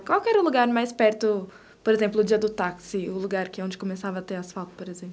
Qual era o lugar mais perto, por exemplo, no dia do táxi, o lugar que é onde começava a ter asfalto, por exemplo?